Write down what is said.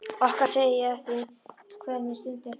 Okkar segi ég afþvíað hver mín stund er þín.